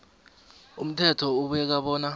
umthetho ubeka bona